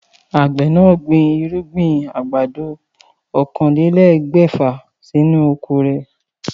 Àgbè náà gbin irúgbìn àgbàdo oókanlelégbèfà sí inú oko rè